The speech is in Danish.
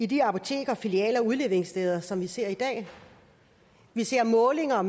de apoteker og filialer og udleveringssteder som man ser i dag vi ser i målinger